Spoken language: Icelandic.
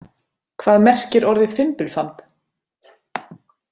Hvað merkir orðið fimbulfamb?